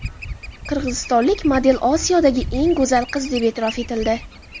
Qirg‘izistonlik model Osiyodagi eng go‘zal qiz deb e’tirof etildi.